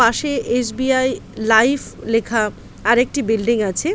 পাশে S. B. I. Life লেখা আরেকটি বিল্ডিং আছে।